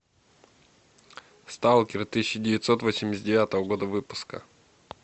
сталкер тысяча девятьсот восемьдесят девятого года выпуска